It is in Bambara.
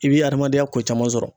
I bi adamadenya ko caman sɔrɔ.